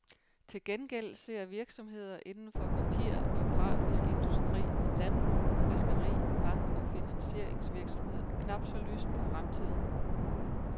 Til gengæld ser virksomheder indenfor papir og grafisk industri, landbrug, fiskeri, bank- og finansieringsvirksomhed knap så lyst på fremtiden.